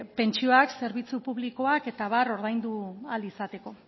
pentsioak zerbitzuak publikoak eta abar ordaindu ahal izateko